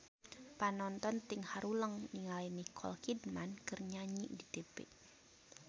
Panonton ting haruleng ningali Nicole Kidman keur nyanyi di tipi